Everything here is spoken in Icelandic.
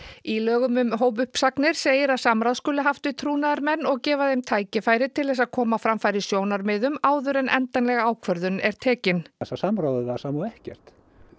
í lögum um hópuppsagnir segir að samráð skuli haft við trúnaðarmenn og gefa þeim tækifæri til að koma á framfæri sjónarmiðum áður en endanleg ákvörðun er tekin samráðið var sama og ekkert